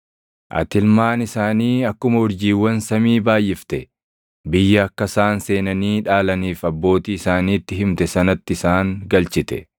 Ati ilmaan isaanii akkuma urjiiwwan samii baayʼifte; biyya akka isaan seenanii dhaalaniif abbootii isaaniitti himte sanatti isaan galchite.